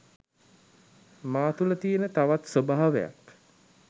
මා තුළ තියෙන තවත් ස්වභාවයක්.